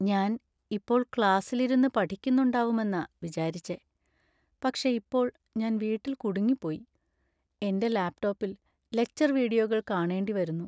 ഞാൻ ഇപ്പോൾ ക്ലാസിലിരുന്ന് പഠിക്കുന്നുണ്ടാവുമെന്ന വിചാരിച്ചെ, പക്ഷേ ഇപ്പോൾ ഞാൻ വീട്ടിൽ കുടുങ്ങിപ്പോയി. എന്‍റെ ലാപ്ടോപ്പിൽ ലെക്ച്ചർ വീഡിയോകൾ കാണേണ്ടിവരുന്നു.